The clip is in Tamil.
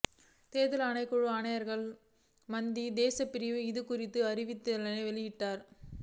தேசிய தேர்தல்கள் ஆணைக்குழுவின் ஆணையாளர் மஹிந்த தேசப்பிரிய இதுகுறித்த அறிவித்தலினை வெளியிட்டுள்ளார்